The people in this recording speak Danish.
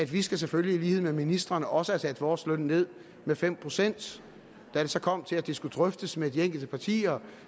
vi skal selvfølgelig lide med ministrene og også have sat vores løn ned med fem procent da det så kom til at det skulle drøftes med de enkelte partier